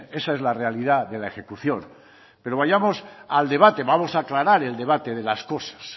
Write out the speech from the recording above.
esa es la realidad de la ejecución pero vayamos al debate vamos a aclarar el debate de las cosas